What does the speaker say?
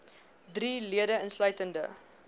drie lede insluitende